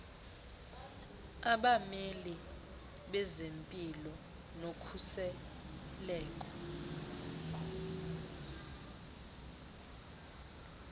abameli bezempilo nokhuseleko